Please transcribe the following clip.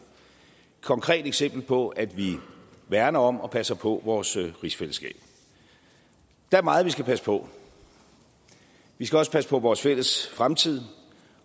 konkret eksempel på at vi værner om og passer på vores rigsfællesskab der er meget vi skal passe på vi skal også passe på vores fælles fremtid